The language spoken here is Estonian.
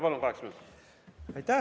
Palun, kaheksa minutit!